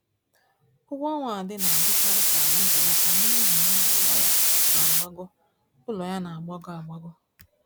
Ụgwọọnwa Ade na-adịkarị ka ọ na-ebelata n'ihi ụgwọ ụlọ ya na-agbago ụlọ ya na-agbago agbago